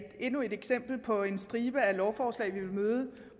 endnu et eksempel på en stribe af lovforslag vi vil møde